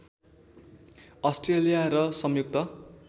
Australia र संयुक्त